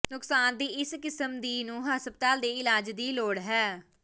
ਨੁਕਸਾਨ ਦੀ ਇਸ ਕਿਸਮ ਦੀ ਨੂੰ ਹਸਪਤਾਲ ਦੇ ਇਲਾਜ ਦੀ ਲੋੜ ਹੈ